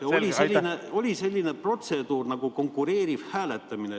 Ja oli selline protseduur nagu konkureeriv hääletus.